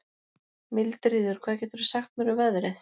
Mildríður, hvað geturðu sagt mér um veðrið?